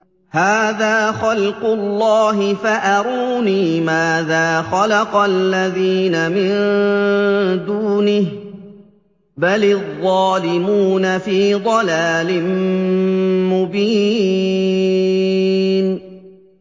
هَٰذَا خَلْقُ اللَّهِ فَأَرُونِي مَاذَا خَلَقَ الَّذِينَ مِن دُونِهِ ۚ بَلِ الظَّالِمُونَ فِي ضَلَالٍ مُّبِينٍ